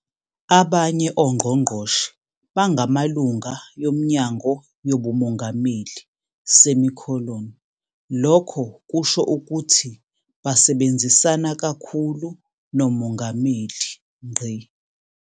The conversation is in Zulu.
Abanye ongqongqoshe bangamalunga yoMnyango yobuMongameli, lokho kusho ukuthi basebenzisana kakhulu noMongameli.